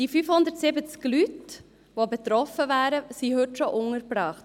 Die 570 Leute, die betroffen wären, sind heute schon im Kanton untergebracht.